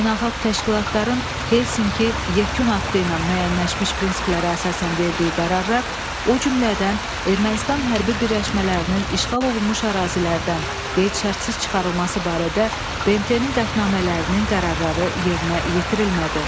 Beynəlxalq təşkilatların Helsinki yekun aktı ilə müəyyənləşmiş prinsiplərə əsasən verdiyi qərarlar, o cümlədən Ermənistan hərbi birləşmələrinin işğal olunmuş ərazilərdən qeyd-şərtsiz çıxarılması barədə BMT-nin qətnamələrinin qərarları yerinə yetirilmədi.